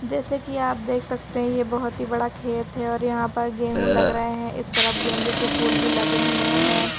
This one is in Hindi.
जैसे कि आप देख सकते हैं ये बहुत ही बड़ा खेत हैं और यहाँ पर गेहूं लग रहे हैं इस तरफ गेंदे के फूल भी लगे हुए हैं।